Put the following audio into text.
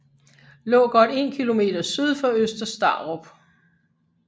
Lå godt 1 km syd for Øster Starup